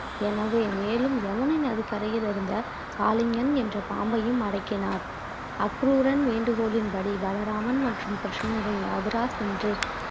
எனவே மேலும் யமுனை நதி கரையில் இருந்த காளிங்கன் என்ற பாம்பையும் அடக்கினார் அக்ரூரன் வேண்டுகோளின்படி பலராமன் மற்றும் கிருஷ்ணரின் மதுரா சென்று